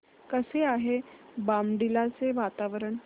कसे आहे बॉमडिला चे वातावरण